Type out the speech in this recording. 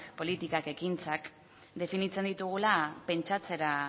politikak ekintzak definitzen ditugula pentsatzera